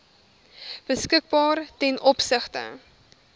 beskikbaar ten opsigte